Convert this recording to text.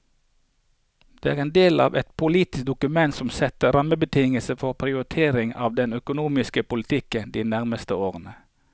Dette er en del av et politisk dokument som setter rammebetingelser for prioriteringer for den økonomiske politikken de nærmeste årene.